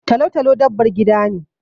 Talo-talo dabbar gida ne.